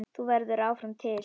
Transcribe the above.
Þú verður áfram til.